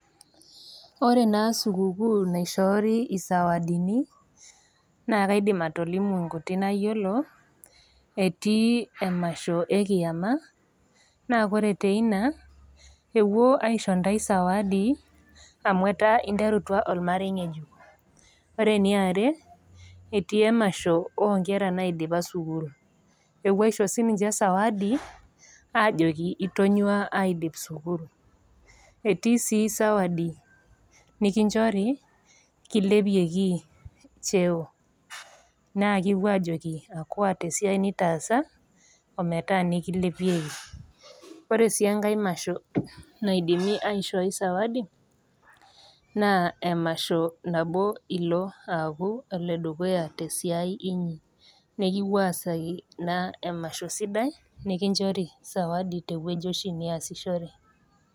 Ore naa sikukuu naishori isawadini naa kaidim atolimu inkuti nayiolo, etii emasho e kIama, naa ore teina, epuo aisho intai sawadi, amu etaa interutua olmarei ng'ejuk. Ore ene are, etii emasho oo nkera naidipa sukuul, nepuoi aisho siininye sawadi aajoki itonyua aidip sukuul. Etii sii sawadi nikinchori kilepieki cheo naa kipuo aajoki akuaa tesiai nitaasa, ometaa nikilepieki. Ore sii enkai masho naidimi aishooi sawadi, naa emasho nabo ilo aaku oledukuya te esiai inyi, nekipuoi aasaki naaa emasho sidai, nekinchori sawadi sidai te ewueji oshi niasishore.